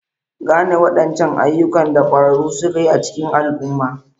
Gane wadancan ayyukan da kwararru suka yi a cikin al'umma.